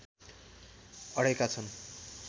अडेका छन्